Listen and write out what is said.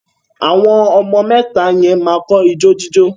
Àwọn ọmọ mẹ́ta yẹn máa kọ́ ijó jíjó